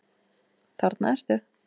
Þarna ertu!